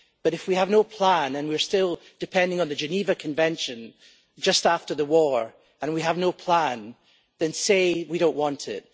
But if we have no plan and we're still depending on the Geneva Convention from just after the war and we have no plan, then say we don't want it.